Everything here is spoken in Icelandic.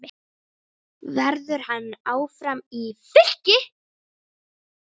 Verður hann áfram í Fylki?